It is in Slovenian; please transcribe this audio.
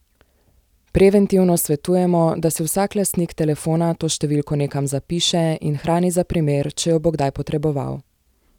Preventivno svetujemo, da si vsak lastnik telefona to številko nekam zapiše in hrani za primer, če jo bo kdaj potreboval.